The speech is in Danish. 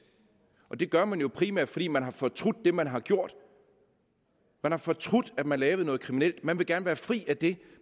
og det gør man jo primært fordi man har fortrudt det man har gjort man har fortrudt at man lavede noget kriminelt man vil gerne være fri af det